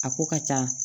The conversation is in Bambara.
A ko ka ca